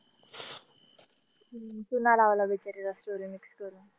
चुना लावला बिचारीला story mix करून.